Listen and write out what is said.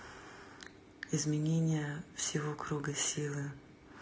изменение всего круга силы